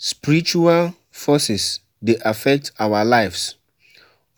Spiritual forces dey affect our lives,